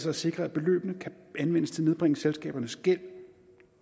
at sikre at beløbene kan anvendes til at nedbringe selskabernes gæld